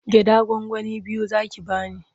Gyaɗa gwangwani biyu za ki ba ni.